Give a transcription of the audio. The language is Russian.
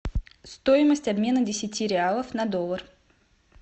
стоимость обмена десяти реалов на доллар